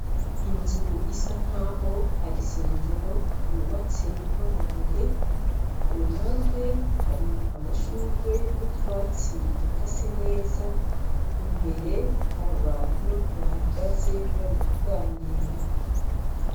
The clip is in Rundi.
Inzu isa nkaho ar'isengero yubatse n'amabuye kuruhande hari amashurwe n'utwatsi dukase neza imbere har'abantu bahagaze barikuganira .